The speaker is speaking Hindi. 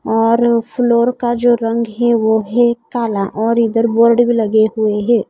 और फ्लोर का जो रंग है ओ है काला और इधर बोर्ड भी लगे हुए है।